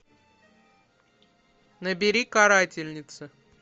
набери карательница